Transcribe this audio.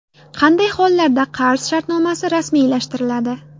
Qanday hollarda qarz shartnomasi rasmiylashtiriladi?.